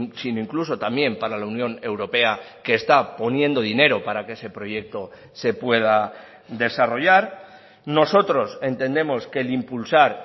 sino incluso también para la unión europea que está poniendo dinero para que ese proyecto se pueda desarrollar nosotros entendemos que el impulsar